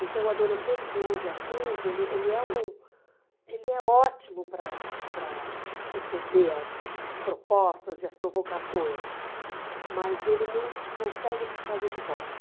Então, o adolescente de onze a quinze, ele ele é um ele é ótimo para para receber as propostas e as provocações, mas ele não consegue te trazer de volta.